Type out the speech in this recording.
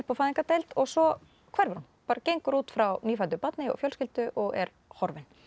á fæðingardeild og svo hverfur hún bara gengur út frá nýfæddu barni og fjölskyldu og er horfin